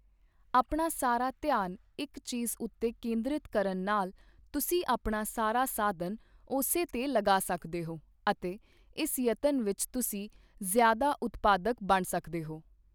ਆਪਣਾ ਸਾਰਾ ਧਿਆਨ ਇੱਕ ਚੀਜ਼ ਉੱਤੇ ਕੇਂਦ੍ਰਿਤ ਕਰਨ ਨਾਲ ਤੁਸੀਂ ਆਪਣਾ ਸਾਰਾ ਸਾਧਨ ਉਸੇ ਤੇ ਲਗਾ ਸਕਦੇ ਹੋ ਅਤੇ ਇਸ ਯਤਨ ਵਿੱਚ ਤੁਸੀਂ ਜ਼ਿਆਦਾ ਉਤਪਾਦਕ ਬਣ ਸਕਦੇ ਹੋ।